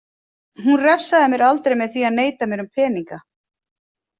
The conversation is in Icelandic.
Hún refsaði mér aldrei með því að neita mér um peninga.